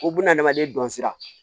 O bunahadamaden dɔn sira